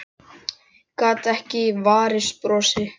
Gat ekki varist brosi.